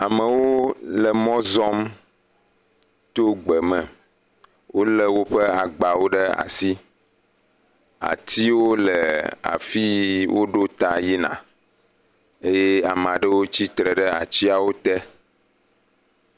Amewo le mɔ zɔm tso gbe me. Wolé woƒe agbawo ɖe asi, atiwo le afi si woɖo ta yina eye ame aɖewo tsitre ɖe atiawo te.